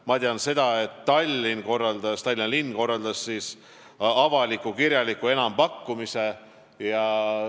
Ma tean, et Tallinna linn korraldas avaliku kirjaliku enampakkumise.